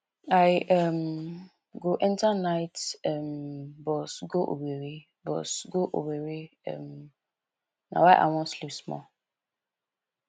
i um go enta night um bus go owerri bus go owerri um na why i wan sleep small